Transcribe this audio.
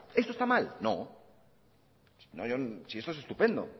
esto está mal no si esto es estupendo